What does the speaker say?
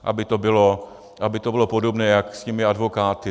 Aby to bylo podobné jak s těmi advokáty.